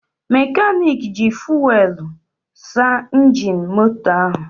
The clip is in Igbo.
Mekanik ji fuwelụ saa injin moto ahụ.